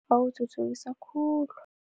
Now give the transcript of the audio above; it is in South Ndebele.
Bawuthuthukisa khulu.